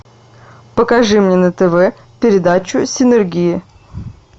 покажи мне на тв передачу синергия